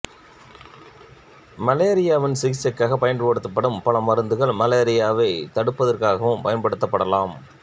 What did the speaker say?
மலேரியாவின் சிகிச்சைக்காகப் பயன்படுத்தப்படும் பல மருந்துகள் மலேரியாவை தடுப்பதற்காகவும் பயன்படுத்தப்படலாம்